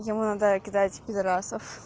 кидайте пидораса